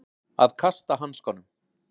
Að kasta hanskanum